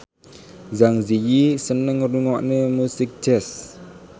Zang Zi Yi seneng ngrungokne musik jazz